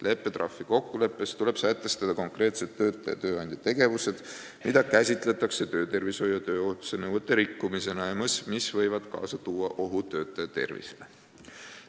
Leppetrahvi kokkuleppes tuleb sätestada konkreetselt töötaja ja tööandja tegevused, mida käsitletakse töötervishoiu ja tööohutuse nõuete rikkumisena ja mis võivad kaasa tuua ohu töötaja tervisele.